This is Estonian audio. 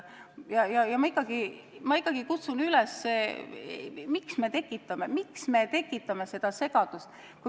Ma ikkagi kutsun üles: ärme tekitame seda segadust!